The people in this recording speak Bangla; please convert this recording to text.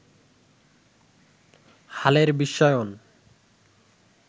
হালের বিশ্বায়ন